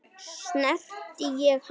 Snerti ég hann?